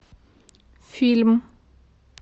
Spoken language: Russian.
фильм